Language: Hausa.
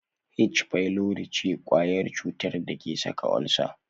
H pylori ce kwayar cutar da ke saka ulcer.